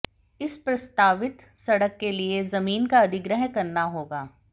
इस प्रस्तावित सड़क के लिए जमीन का अधिग्रहण करना होगा